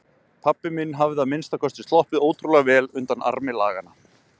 Pabbi minn hafði að minnsta kosti sloppið ótrúlega vel undan armi laganna.